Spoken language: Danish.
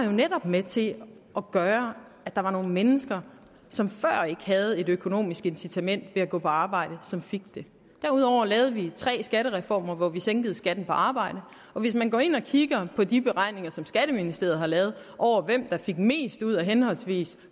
jo netop med til at gøre at der var nogle mennesker som før ikke havde et økonomisk incitament til at gå på arbejde som fik det derudover lavede vi tre skattereformer hvor vi sænkede skatten på arbejde og hvis man går ind og kigger på de beregninger som skatteministeriet har lavet over hvem der fik mest ud af henholdsvis